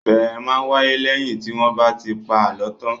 Ìbéèrè máa ń wáyé lẹ́yìn tí wọ́n bá ti pa àlọ́ tán.